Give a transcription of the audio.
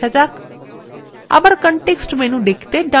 আবার context menu দেখতে ডান click করুন